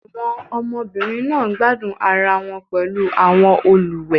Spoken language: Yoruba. Àwọn ọmọbìnrin náà ń gbádùn ara wọn pẹ̀lú àwọn olùwẹ̀